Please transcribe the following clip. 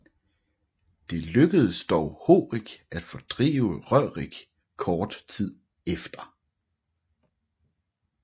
Det lykkedes dog Horik at fordrive Rørik kort tid efter